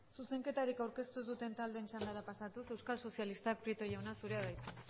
zuzenketarik aurkeztu ez duten txandara pasatuz euskal sozialistak prieto jauna zurea da hitza